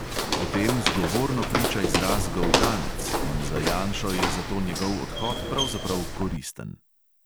O tem zgovorno priča izraz goltanec in za janšo je zato njegov odhod pravzaprav koristen.